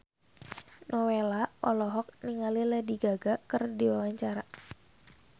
Nowela olohok ningali Lady Gaga keur diwawancara